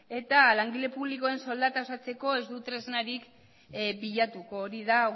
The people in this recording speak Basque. eta langile publikoen soldata osatzeko ez du tresnarik bilatuko hori da